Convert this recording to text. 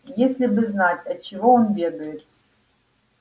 если бы знать от чего он бегает